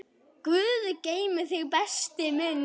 Guð geymi þig, besti minn.